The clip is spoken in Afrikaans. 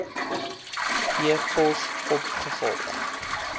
e pos opgevolg